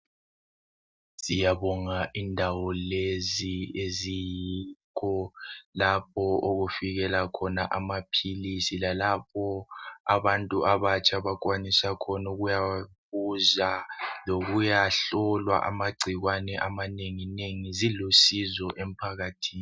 Siyabonga izindawo lezi eziyikho lapho okufikela khona amaphilisi lalapho abantu abatsha abakwanisa khona ukuyawabuza lokuyahlolwa amagcikwane amanengi nengi zilusizo emphakathini.